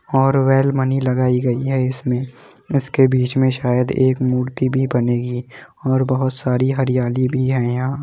और लगाई गयी है इसमे इसके बीच मे शायद एक मूर्ति भी बनेगी और बहुत सारी हरियाली भी है यहा।